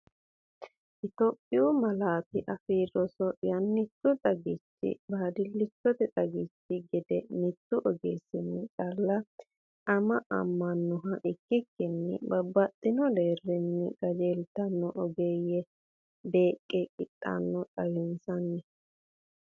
Itophiyu Malaatu Afii Roso Yannichu xagichi baadillichote xagichi gede mittu ogeessinni calla aamamannoha ikkikkinni babbaxxino deerrinni qajeeltino ogeeyye beeq qitanno, xawinsanni?